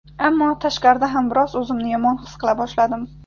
Ammo tashqarida ham biroz o‘zimni yomon his qila boshladim.